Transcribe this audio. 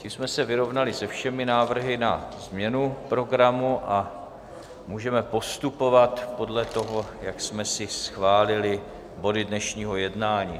Tím jsme se vyrovnali se všemi návrhy na změnu programu a můžeme postupovat podle toho, jak jsme si schválili body dnešního jednání.